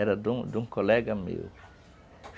Era de de um colega meu.